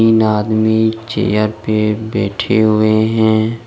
तीन आदमी चेयर पे बैठे हुए हैं।